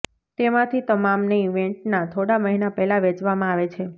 તેમાંથી તમામને ઇવેન્ટના થોડા મહિના પહેલાં વેચવામાં આવે છે